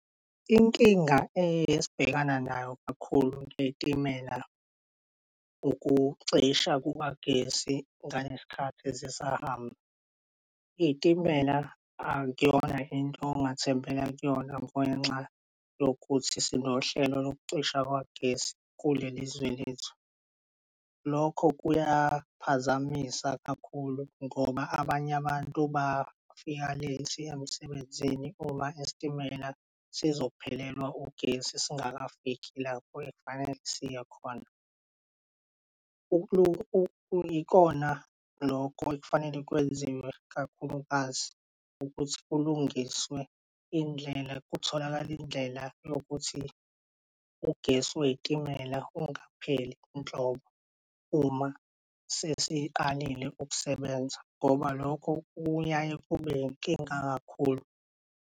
Inkinga esibhekana nayo kakhulu kwey'timela ukucisha kukagesi ngalesikhathi zisahamba. Iy'timela akuyona into ongathembela kuyona ngenxa yokuthi sinohlelo lokucisha kwagesi kuleli zwe lethu. Lokho kuyaphazamisa kakhulu ngoba abanye abantu bafika late emsebenzini uma isitimela sizophelelwa ugesi singakafiki lapho ekufanele siye khona. Ikona loko ekufanele kwenziwe kakhulukazi ukuthi kulungiswe indlela, kutholakale indlela yokuthi ugesi wey'timela ungapheli nhlobo uma sesiqalile ukusebenza ngoba lokho kuyaye kube inkinga kakhulu.